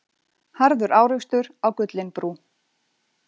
Harður árekstur á Gullinbrú